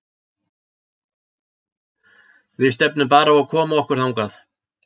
Við stefnum bara á að koma okkur þangað.